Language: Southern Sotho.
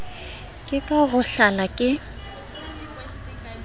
ke ka mo hlala ke